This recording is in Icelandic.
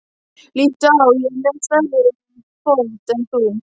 Líttu á, ég er með stærri fót en þú.